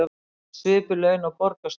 Með svipuð laun og borgarstjórinn